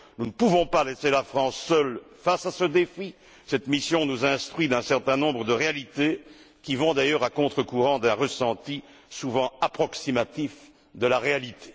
Nous ne pouvons pas laisser la France, seule, face à ce défi. Cette mission nous instruit sur un certain nombre de réalités qui vont, d'ailleurs, à contre courant d'un ressenti souvent approximatif de la réalité.